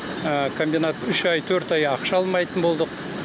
комбинат үш ай төрт ай ақша алмайтын болдық